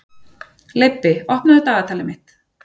Leibbi, opnaðu dagatalið mitt.